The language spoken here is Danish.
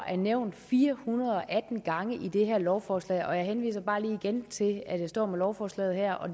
er nævnt fire hundrede og atten gange i det her lovforslag og jeg henviser bare lige igen til at jeg står med lovforslaget her og